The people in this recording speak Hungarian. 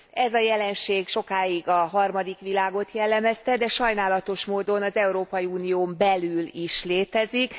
Ez a jelenség sokáig a harmadik világot jellemezte, de sajnálatos módon az Európai Unión belül is létezik.